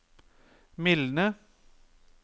mildne